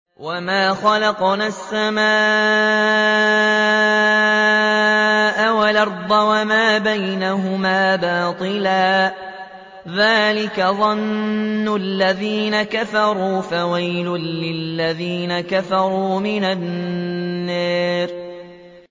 وَمَا خَلَقْنَا السَّمَاءَ وَالْأَرْضَ وَمَا بَيْنَهُمَا بَاطِلًا ۚ ذَٰلِكَ ظَنُّ الَّذِينَ كَفَرُوا ۚ فَوَيْلٌ لِّلَّذِينَ كَفَرُوا مِنَ النَّارِ